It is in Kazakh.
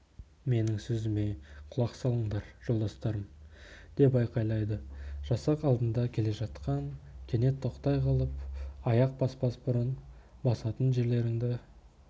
менің сөзіме құлақ салыңдар жолдастарым деп айқайлады жасақ алдында келе жатқан кенет тоқтай қалып аяқ баспас бұрын басатын жерлеріңді